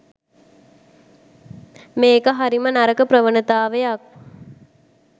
මේක හරිම නරක ප්‍රවනතාවයක්